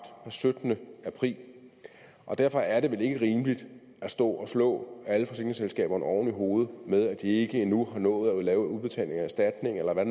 den syttende april og derfor er det vel ikke rimeligt at stå og slå alle forsikringsselskaberne oven i hovedet med at de ikke endnu har nået at lave udbetaling af erstatning eller hvad